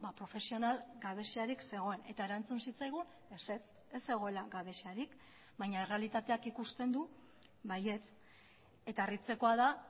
profesional gabeziarik zegoen eta erantzun zitzaigun ezetz ez zegoela gabeziarik baina errealitateak ikusten du baietz eta harritzekoa da